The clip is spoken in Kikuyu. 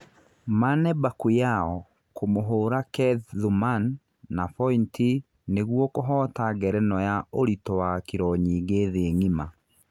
Mane Bakuyao kũmũhũra Keth Thuman na bointi nĩguo kũhoota ngerenwa ya ũritũ wa Kironyingĩ thĩ ng'ima.